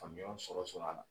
faamuyaw sɔrɔ sɔrɔ a la.